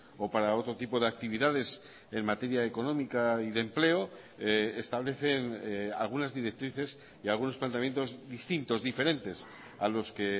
o para otro tipo de actividades en materia económica y de empleo establecen algunas directrices y algunos planteamientos distintos diferentes a los que